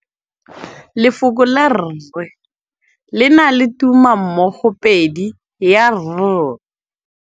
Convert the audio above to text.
Lefoko la rre le na le tumammogôpedi ya, r.